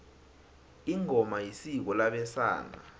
ingoma isiko labesana